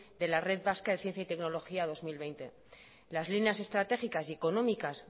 de la red vasca de ciencia y tecnología dos mil veinte las líneas estratégicas y económicas